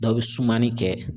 Dɔw bi sumani kɛ